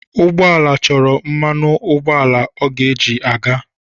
Ụgbọ ala chọrọ mmanụ ụgbọala ọ ga-eji aga.